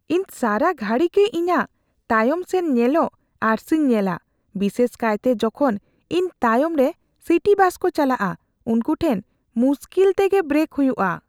ᱤᱧ ᱥᱟᱨᱟ ᱜᱷᱩᱲᱤ ᱜᱮ ᱤᱧᱟᱜ ᱛᱟᱭᱚᱢ ᱥᱮᱱ ᱧᱮᱞᱚᱜ ᱟᱹᱨᱥᱤᱧ ᱧᱮᱞᱟ, ᱵᱤᱥᱟᱹᱥ ᱠᱟᱭᱛᱮ ᱡᱚᱠᱷᱚᱱ ᱤᱧ ᱛᱟᱭᱚᱢ ᱨᱮ ᱥᱤᱴᱤ ᱵᱟᱥ ᱠᱚ ᱪᱟᱞᱟᱜᱼᱟ ᱾ ᱩᱱᱠᱩ ᱴᱷᱮᱱ ᱢᱩᱥᱠᱤᱞ ᱛᱮᱜᱮ ᱵᱨᱮᱠ ᱦᱩᱭᱩᱜᱼᱟ ᱾